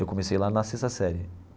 Eu comecei lá na sexta série.